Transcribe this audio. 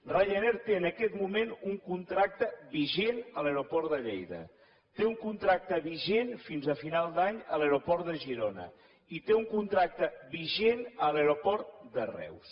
ryanair té en aquest moment un contracte vigent a l’aeroport de lleida té un contracte vigent fins a final d’any a l’aeroport de girona i té un contracte vigent a l’aeroport de reus